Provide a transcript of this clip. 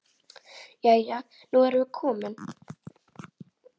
Jæja, nú erum við komin.